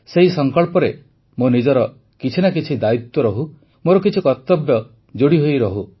ସେହି ସଂକଳ୍ପରେ ମୋ ନିଜର କିଛି ନା କିଛି ଦାୟିତ୍ୱ ରହୁ ମୋର କିଛି କର୍ତ୍ତବ୍ୟ ଯୋଡ଼ିହୋଇ ରହୁ